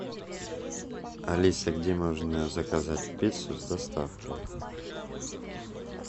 алиса где можно заказать пиццу с доставкой